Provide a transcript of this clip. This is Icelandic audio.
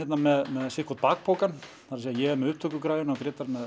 með sinn hvorn bakpokann ég er með upptökugræjurnar og Grétar með